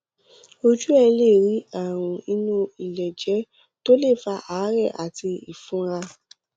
ojú ẹ lè rí àrùn inú iléèjẹ tó lè fa àárè àti ìfunra